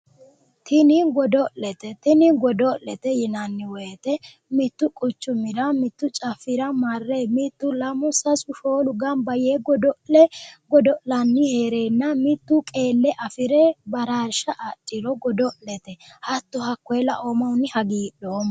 Tini godo'lete tini godo'lete yinanni woyite mittu quchumira mittu caffira marre mittu lamu sasu shoolu ganbba yee godo'le godo'lani heerenna mittu qeelle afire baraarisha adhiro godo'lete hatto hakkoye laoommahunni hagiidhoomma